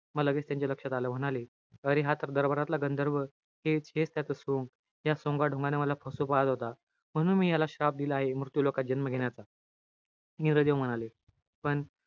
म लगेच त्यांच्या लक्षात आलं. म्हणाले, अरे, हा तर दरबारातला गंधर्व. हेच-हेच त्याचं सोंग. या सोंगाढोंगानं मला फसवू पाहत होता. म्हणून मी याला श्राप दिला आहे. मृत्युलोकात जन्म घेण्याचा. इंद्रदेव म्हणाले. पण,